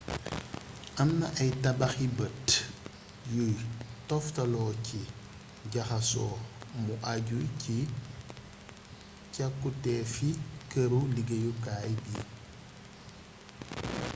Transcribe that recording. am na ay tabaxi bët yuy toftaloo ci jaxaso mu àju ci càkkutéefi këru liggéeyukaay bi